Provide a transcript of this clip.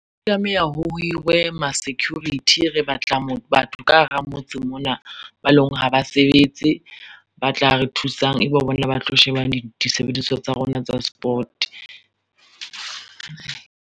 O tlameha ho hirwe ma-security, re batla batho ka hara motse mona ba e leng hore ha ba sebetse ba tla re thusang, ebe bona ba tlo sheba disebediswa tsa rona tsa sport.